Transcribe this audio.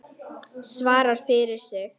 Svara fyrir sig.